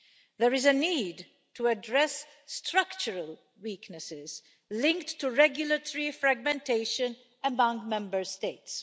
There is a need to address structural weaknesses linked to regulatory fragmentation among Member States.